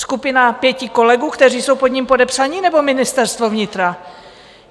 Skupina pěti kolegů, kteří jsou pod ním podepsaní, nebo Ministerstvo vnitra?